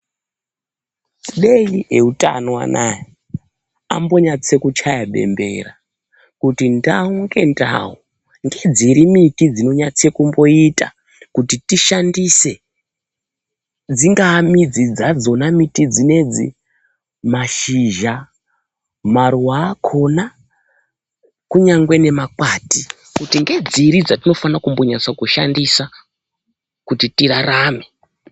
Dei eutano anaya, ambonyatse kuchaya bembera kuti ndau ngendau ngedziri miti dzinonyatse kumboita kuti tishandise. Dzingaa midzi dzadzona miti dzinedzi, mashizha, maruwa akona kunyangwe nemakwati, kuti ngedziri dzatinofana kumbonyasa kushandisa, kuti tirarame?